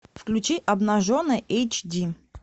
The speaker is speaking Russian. включи обнаженный эйч ди